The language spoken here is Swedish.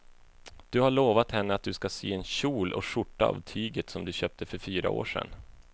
Du har lovat henne att du ska sy en kjol och skjorta av tyget du köpte för fyra år sedan.